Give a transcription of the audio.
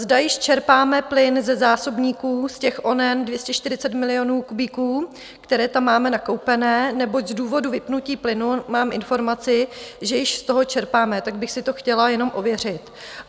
Zda již čerpáme plyn ze zásobníků, z těch oněch 240 milionů kubíků, které tam máme nakoupené, neboť z důvodu vypnutí plynu mám informaci, že již z toho čerpáme, tak bych si to chtěla jenom ověřit.